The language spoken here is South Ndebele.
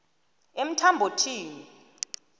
emthambothini